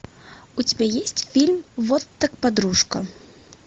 у тебя есть фильм вот так подружка